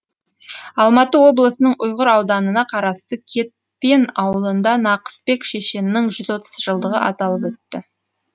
алматы облысының ұйғыр ауданына қарасты кетпен ауылында нақысбек шешеннің жүз отыз жылдығы аталып өтті